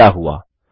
क्या हुआ